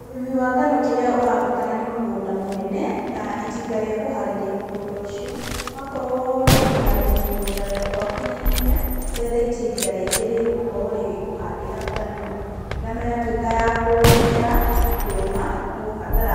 Ũrĩmi wa ngano kĩrĩa ũrabatara nĩ mũgũnda mũnene na itinga rĩa kũharĩria mũgũnda ucio. Wakorwo nĩũkũharĩria mũgũnda waku naihenya, wethe itinga rĩngĩ rĩgũkorwo rĩgĩkuhandĩra ngano. Ngano yatũĩka ya kũmera na kũũma, nĩũgũbatara